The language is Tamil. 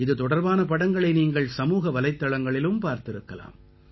இது தொடர்பான படங்களை நீங்கள் சமூக வலைத்தளங்களிலும் பார்த்திருக்கலாம்